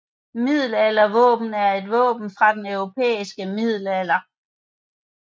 Middelaldervåben er våben fra den europæiske middelalder